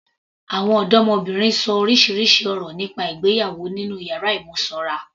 Àwọn ọdọmọbìnrin ṣọ orísirísi ọ̀rọ̀ nípa ìgbéyàwó nínú yàrá ìmúnisanra.